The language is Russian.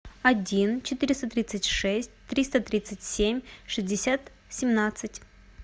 один четыреста тридцать шесть триста тридцать семь шестьдесят семнадцать